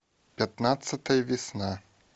пятнадцатая весна